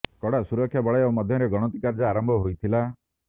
କଡ଼ା ସୁରକ୍ଷା ବଳୟ ମଧ୍ୟରେ ଗଣତି କାର୍ଯ୍ୟ ଆରମ୍ଭ ହୋଇଥିଲା